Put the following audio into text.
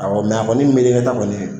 a kɔni mi ɲɛkɛna taa kɔni gɛ